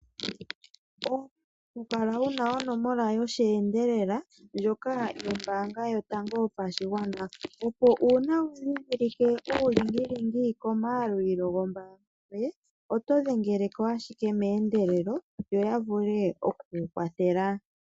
Owa pumbwa okukala wuna onomola yosheendelela ndjoka yombaanga yotango yopashigwana. Opo uuna wa dhindhilike uulingilingi komayalulilo gombaanga yoye oto dhengele ko ashike meendelelo yo yavule oku kukwathela.